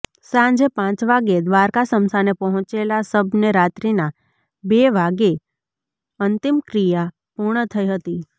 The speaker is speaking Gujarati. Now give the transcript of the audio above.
સાંજે પાંચ વાગ્યે દ્વારકા સ્મશાને પહોંચેલા સબને રાત્રીના બે વાગ્યે અંતિમક્રિયા પૂર્ણ થઈ હતી